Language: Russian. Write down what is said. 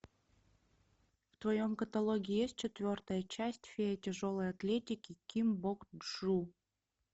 в твоем каталоге есть четвертая часть фея тяжелой атлетики ким бок чжу